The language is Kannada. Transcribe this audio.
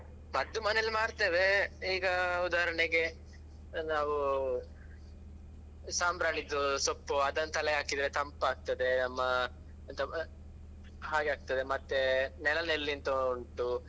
ಮದ್ದು ಮನೆಯಲ್ಲೇ ಮಾಡ್ತೇವೆ, ಈಗ ಉದಾಹರಣೆಗೆ ನಾವೂ ಸಾಂಬ್ರಾಣಿದ್ದು ಸೊಪ್ಪು ಅದನ್ನು ತಲೆಗೆ ಹಾಕಿದ್ರೆ ತಂಪಾಗ್ತದೆ ನಮ್ಮ ಎಂತ ಹಾಗೆ ಆಗ್ತದೆ ಮತ್ತೆ ನೆಲ ನೆಲ್ಲಿ ಅಂತ ಉಂಟು.